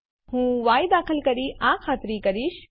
હું ય દાખલ કરી આ ખાતરી કરીશ